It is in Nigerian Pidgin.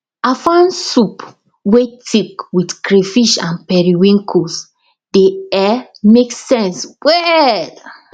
afang soup wey thick with crayfish and periwinkles dey um make sense well